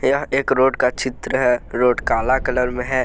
यह एक रोड का चित्र है रोड काला कलर में है।